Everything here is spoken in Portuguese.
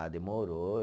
Ah, demorou.